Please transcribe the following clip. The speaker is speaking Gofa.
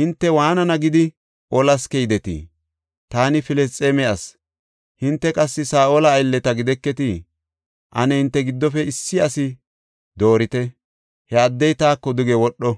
hinte waanana gidi olas keydetii? Taani Filisxeeme asi; hinte qassi Saa7ola aylleta gideketii? Ane hinte giddofe issi asi doorite; he addey taako duge wodho.